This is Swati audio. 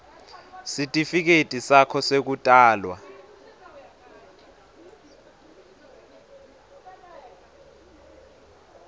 sitifiketi sakho sekutalwa